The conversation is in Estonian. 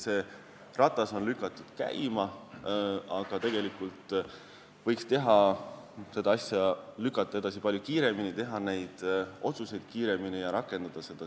Nii et ratas on käima lükatud, aga tegelikult võiks muidugi teha neid otsuseid palju kiiremini ja rakendada seda.